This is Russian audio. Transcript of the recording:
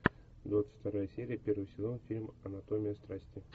двадцать вторая серия первый сезон фильм анатомия страсти